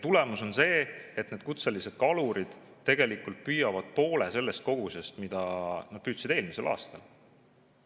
Tulemus on see, et need kutselised kalurid püüavad poole sellest kogusest, mida nad püüdsid eelmisel aastal.